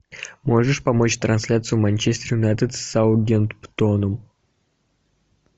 можешь помочь трансляцию манчестер юнайтед с саутгемптоном